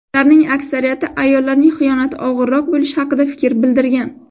Ularning aksariyati ayollarning xiyonati og‘irroq bo‘lishi haqida fikr bildirgan.